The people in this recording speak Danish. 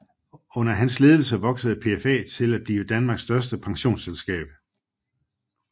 Under hans ledelse voksede PFA til at blive Danmarks største pensionsselskab